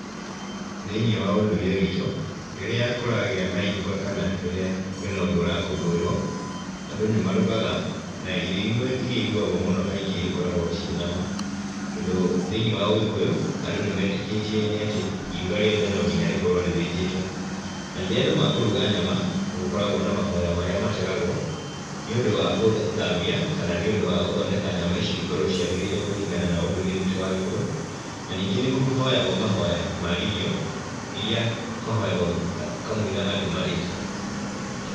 Thĩiniĩ wa ũndũire witũ, rĩrĩa kũragĩa na iruga kana rĩrĩa kwĩ na ũndũ ũrakũngũĩrwo, andũ nĩ marugaga na irio imwe iria irugagwo mũno kaingĩ ikoragwo ciĩ nyama, tondũ thĩiniĩ wa ũgĩkũyũ andũ nĩ metĩkĩtie nĩ atĩ iruga riothe no nginya rĩkorwo rĩthĩnjĩtwo, na rĩrĩa andũ makũruga nyama nĩ gũkoragwo na mahoya marĩa mategagwo, nĩũndũ wa gũthambia kana nĩ ũndũ wa gũthondeka nyama icio cikorwo ciagĩrĩire kũringana na ũndũire witũ wa gĩkũyũ, na ningĩ nĩ kũhoyagwo mahoya ma irio irĩa mahoyagwo kamũira andũ marĩĩte.